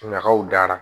Ɲagaw dara